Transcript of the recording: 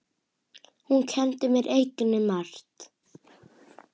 Hún kenndi mér einnig margt.